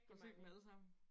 Har du set dem alle sammen?